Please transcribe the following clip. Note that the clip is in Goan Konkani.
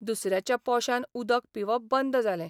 दुसऱ्याच्या पोशान उदक पिवप बंद जालें.